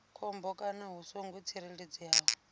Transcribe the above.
khombo kana hu songo tsireledzeaho